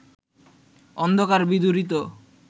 অন্ধকার বিদূরিত